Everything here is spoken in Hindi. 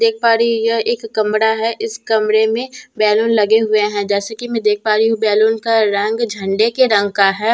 देख पा रही हूँ यह एक कमरा है इस कमरे में बैलून लगे हुए है जैसे कि मैं देख पा रही हूँ बैलून का रंग झंडे के रंग का है औ--